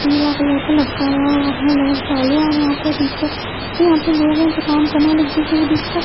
पीला कलर का लटकाया हुआ है लेट जालू और यहाँ पे दीपचा यहाँ पे लोग हैं जो काम करने वाले एक दूसरे को डिस्कस --